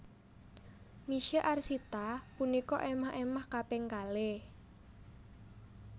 Misye Arsita punika émah émah kaping kalih